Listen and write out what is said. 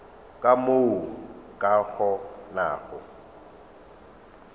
ka mo o ka kgonago